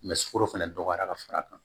sukaro fɛnɛ dɔgɔyara ka far'a kan